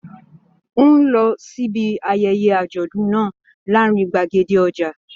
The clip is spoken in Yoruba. N o lọ síbi ayẹyẹ àjọ̀dún náà láàrin gbàgede ọja.